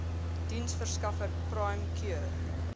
diensverskaffer prime cure